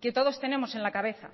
que todos tenemos en la cabeza